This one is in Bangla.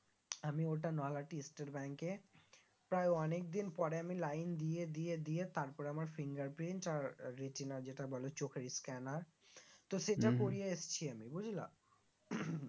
আমি ওইটা নৈহাটি state bank এ প্রায় অনেকদিন পরে আমি line দিয়ে দিয়ে দিয়ে তারপরে আমার finger print আর retina যেটা বলে চোখের scanner তো সেটা করিয়ে এসছি আমি বুঝলা